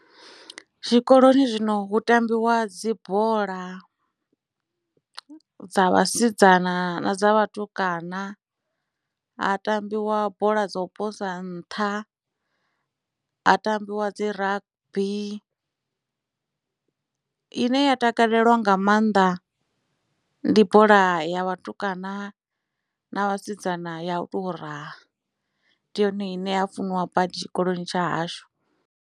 Tshikoloni zwino hu tambiwa dzi bola dza vhasidzana na dza vhatukana ha tambiwa bola dzo posa nṱha ha tambiwa dzi rugby ine ya takalelwa nga maanḓa ndi bola ya vhatukana na vhasidzana ya u tou raha ndi yone ine ya funiwa badi tshikoloni tsha hashu.